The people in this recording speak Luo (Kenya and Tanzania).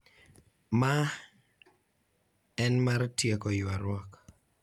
Ma en mar tieko ywaruok.